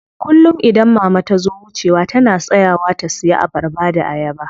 Kullum idan mama tazo wucewa tana tsayawa ta siya abarba da ayaba.